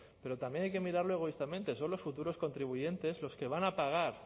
pero también hay que mirarlo egoístamente son los futuros contribuyentes los que van a pagar